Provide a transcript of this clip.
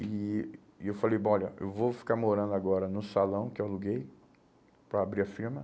E e eu falei, bom, olha, eu vou ficar morando agora no salão que eu aluguei para abrir a firma.